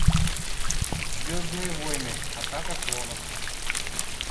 звездные войны атака клонов